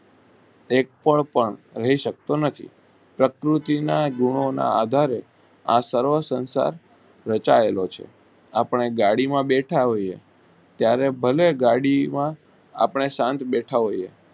એક પણ પણ હોઈ શકતો નથી પ્રકૂર્તિ ના ગુનો ના આધારે આ સર્વ સંસાર વસાવેલો છે આપણે ગાડી માં બેઠા હોઈએ ત્યારે ભલે ગાડી માં આપણે શાંત બેઠા હોઈએ.